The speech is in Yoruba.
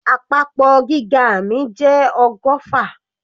Àpapọ̀ gíga mi jẹ́ ọgọ́fà.